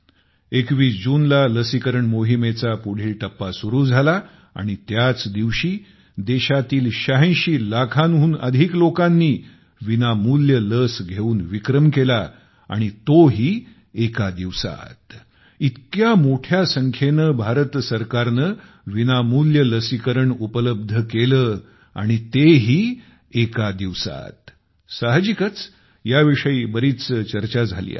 21 जूनला लसीकरण मोहिमेचा पुढील टप्पा सुरू झाला आणि त्याच दिवशी देशातील ८६ लाखांहून अधिक लोकांनी विनामूल्य लस घेऊन विक्रम केला व तो देखील एका दिवसात इतक्या मोठ्या संख्येने भारत सरकारने विनामूल्य लसीकरण उपलब्ध केले आणि तेही एका दिवसात साहजिकच ह्याविषयी बरीच चर्चा झाली आहे